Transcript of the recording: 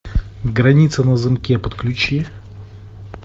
граница на замке подключи